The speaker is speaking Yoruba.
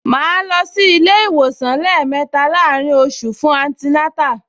Màá lọ sí ilé-ìwòsàn lẹ́ẹ̀mẹta láàárín oṣù mẹ́ta fún antinátà